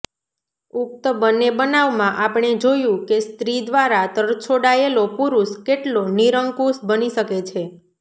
ઉક્ત બંને બનાવમાં આપણે જોયું કે સ્ત્રી દ્વારા તરછોડાયેલો પુરુષ કેટલો નિરંકુશ બની શકે છે